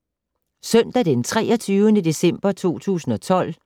Søndag d. 23. december 2012